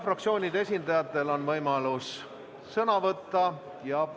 Fraktsioonide esindajatel on võimalus sõna võtta.